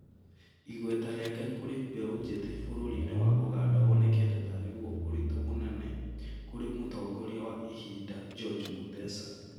Igweta rĩake kũrĩ mbeũ njĩthĩ bũrũri-inĩ wa Ũganda wonekete tarĩguo ũritũ mũnene kũrĩ mũtongoria wa ihinda George Mutesa